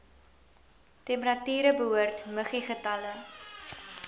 temperature behoort muggiegetalle